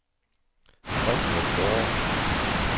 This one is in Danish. Frendrup Gårde